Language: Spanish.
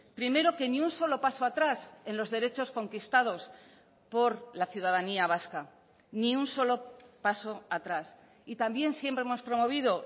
primero que ni un solo paso atrás en los derechos conquistados por la ciudadanía vasca ni un solo paso atrás y también siempre hemos promovido